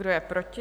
Kdo je proti?